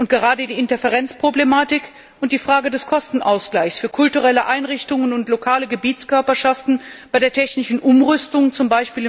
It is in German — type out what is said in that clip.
Und gerade die Interferenzproblematik und die Frage des Kostenausgleichs für kulturelle Einrichtungen und lokale Gebietskörperschaften bei der technischen Umrüstung, z.